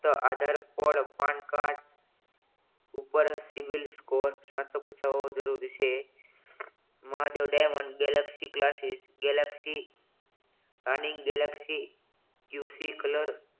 આધાર code PAN card ઉપર civil score કા તો પછાત જરૂરી છે Mahadev diamond galaxy classes galaxy colour